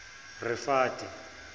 rifate